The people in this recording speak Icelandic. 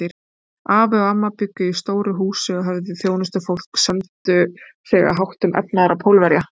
Afi og amma bjuggu í stóru húsi, höfðu þjónustufólk, sömdu sig að háttum efnaðra Pólverja.